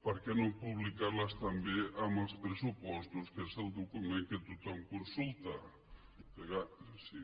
per què no publicar les també en els pressupostos que és el document que tothom consulta en tot cas si